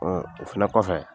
Ɔ o fɛnɛ kɔfɛ